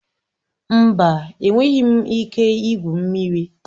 Mba, enweghị m ike igwu mmiri